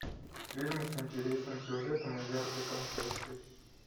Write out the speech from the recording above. фильмы с интересным сюжетом и яркой концовкой